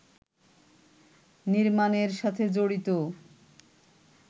নির্মাণের সাথে জড়িত